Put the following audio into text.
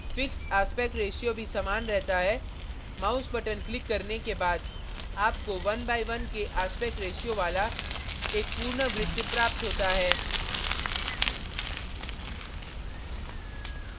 fixed aspect ratio भी समान रहता है mouse button क्लिक करने के बाद आपको 1 by 1 के aspect ratio वाला एक पूर्ण वृत्त प्राप्त होता है